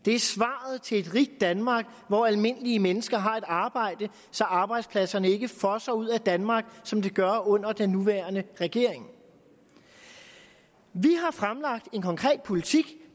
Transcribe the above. det er svaret til et rigt danmark hvor almindelige mennesker har et arbejde så arbejdspladserne ikke fosser ud af danmark som de gør under den nuværende regering vi har fremlagt en konkret politik